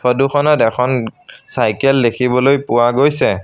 Photo খনত এখন cycle দেখিবলৈ পোৱা গৈছে।